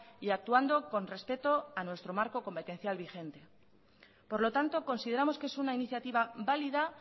y actuando con respeto a nuestro marco competencial vigente por lo tanto consideramos que es una iniciativa válida